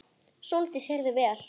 Sóldís heyrði vel.